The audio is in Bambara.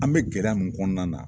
An bɛ gɛlɛya min kɔnɔna na.